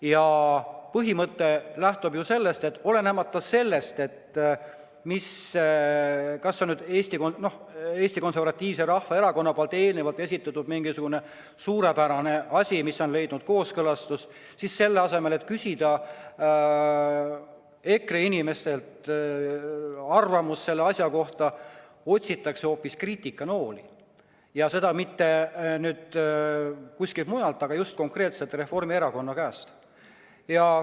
Ja põhimõte lähtub ju sellest, et olenemata sellest, kas see on mingisugune Eesti Konservatiivse Rahvaerakonna eelnevalt esitatud suurepärane asi, mis on leidnud kooskõlastust, siis selle asemel, et küsida EKRE inimestelt asja kohta arvamust, otsitakse hoopis kriitikanooli ja ei kuskilt mujalt kui just konkreetselt Reformierakonna käest.